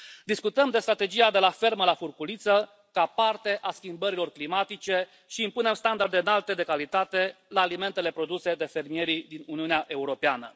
Discutăm de strategia de la fermă la furculiță ca parte a schimbărilor climatice și impunem standarde înalte de calitate la alimentele produse de fermierii din Uniunea Europeană.